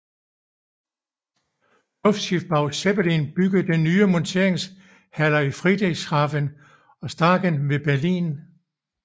Luftschiffbau Zeppelin byggede nye monteringshaller i Friedrichshafen og i Staaken ved Berlin